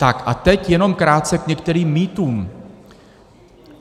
Tak a teď jenom krátce k některým mýtům.